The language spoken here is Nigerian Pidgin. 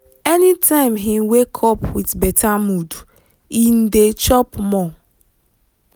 anytime him wake up with better mood him dey chop more.